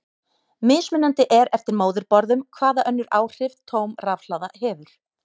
Mismunandi er eftir móðurborðum hvaða önnur áhrif tóm rafhlaða hefur.